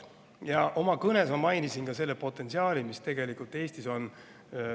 Ja oma kõnes ma mainisin seda potentsiaali seoses maavaradega, mis tegelikult Eestis on.